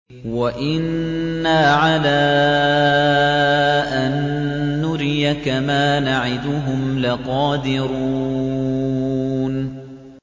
وَإِنَّا عَلَىٰ أَن نُّرِيَكَ مَا نَعِدُهُمْ لَقَادِرُونَ